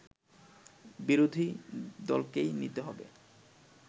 বিরোধী দলকেই নিতে হবে